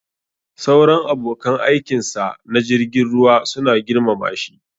Sauran abokan aikinsa na jirgin ruwa suna girmama shi